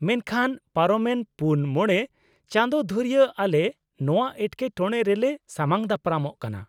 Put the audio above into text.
ᱢᱮᱱᱠᱷᱟᱱ, ᱯᱟᱨᱚᱢᱮᱱ ᱔ᱼ᱕ ᱪᱟᱸᱫᱳ ᱫᱷᱩᱨᱭᱟᱹ ᱟᱞᱮ ᱱᱚᱶᱟ ᱮᱴᱠᱮᱴᱚᱬᱮ ᱨᱮᱞᱮ ᱥᱟᱢᱟᱝ ᱫᱟᱯᱨᱟᱢᱚᱜ ᱠᱟᱱᱟ ᱾